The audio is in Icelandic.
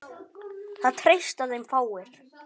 Það treysta þeim fáir.